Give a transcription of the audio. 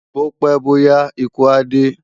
Bó pè bó yá ikú á dé